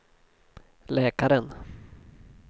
läkaren